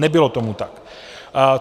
Nebylo tomu tak.